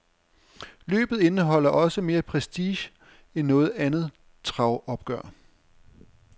Løbet indeholder også mere prestige end noget andet travopgør.